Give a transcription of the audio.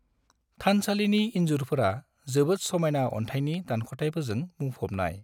थानसालिनि इन्जुरफोरा जोबोद समायना अन्थाइनि दानख'थायफोरजों बुंफॊबनाय।